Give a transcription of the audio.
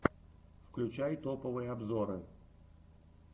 включай топовые обзоры